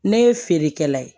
Ne ye feerekɛla ye